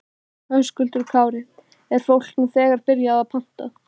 Höskuldur Kári: Er fólk nú þegar byrjað að panta?